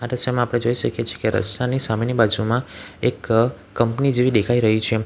દ્રશ્યમાં આપણે જોઈ શકીએ છીએ કે રસ્તાની સામેની બાજુમાં એક કંપની જેવી દેખાઈ રહી છે.